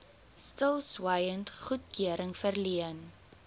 stilswyend goedkeuring verleen